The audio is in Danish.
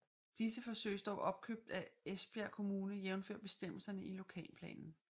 Disse forsøges dog opkøbt af Esbjerg Kommune jævnfør bestemmelserne i lokalplanen